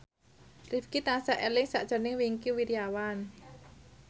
Rifqi tansah eling sakjroning Wingky Wiryawan